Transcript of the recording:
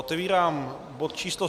Otevírám bod číslo